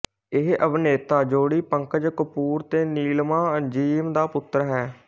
ਇਹ ਅਭਿਨੇਤਾ ਜੋੜੀ ਪੰਕਜ ਕਪੂਰ ਤੇ ਨੀਲਿਮਾ ਅਜ਼ੀਮ ਦਾ ਪੁੱਤਰ ਹੈ